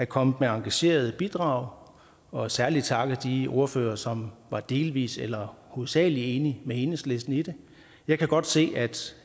kommet med engagerede bidrag og særlig takke de ordførere som var delvis eller hovedsagelig enige med enhedslisten i det jeg kan godt se